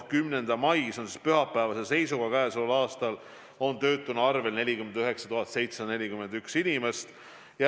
10. mai, see on siis pühapäevase seisuga oli töötuna arvel 49 741 inimest.